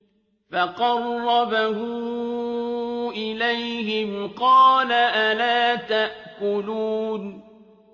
فَقَرَّبَهُ إِلَيْهِمْ قَالَ أَلَا تَأْكُلُونَ